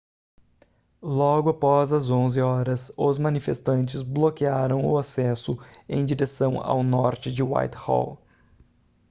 logo após as 11h os manifestantes bloquearam o acesso em direção ao norte de whitehall